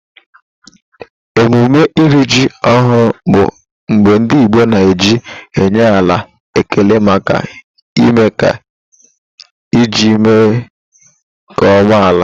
Emume ịrị ji ọhụrụ bụ mgbe ndị Igbo na-eji enye ala ekele maka ime ka ji mee nkeọma n'ala.